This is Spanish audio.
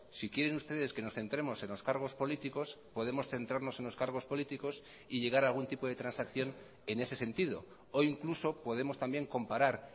si quieren ustedes que nos centremos en los cargos políticos podemos centrarnos en los cargos políticos y llegar a algún tipo de transacción en ese sentido o incluso podemos también comparar